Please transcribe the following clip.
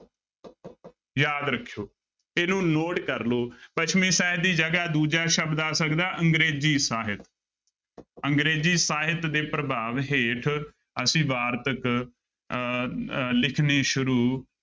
ਯਾਦ ਰੱਖਿਓ ਇਹਨੂੰ note ਕਰ ਲਓ ਪੱਛਮੀ ਸਾਹਿਤ ਦੀ ਜਗ੍ਹਾ ਦੂਜਾ ਸ਼ਬਦ ਆ ਸਕਦਾ ਅੰਗਰੇਜ਼ੀ ਸਾਹਿਤ ਅੰਗਰੇਜ਼ੀ ਸਾਹਿਤ ਦੇ ਪ੍ਰਭਾਵ ਹੇਠ ਅਸੀਂ ਵਾਰਤਕ ਅਹ ਅਹ ਲਿਖਣੀ ਸ਼ੁਰੂ